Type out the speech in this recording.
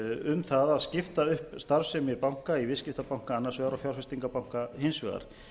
um það að skipta upp starfsemi banka í viðskiptabanka annars vegar og fjárfestingarbanka hins vegar